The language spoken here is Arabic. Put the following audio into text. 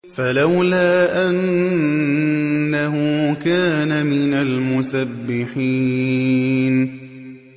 فَلَوْلَا أَنَّهُ كَانَ مِنَ الْمُسَبِّحِينَ